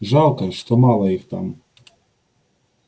жалко что мало их там